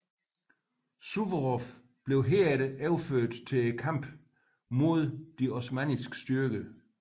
Suvorov blev herefter overført til kampene mod de osmanniske styrker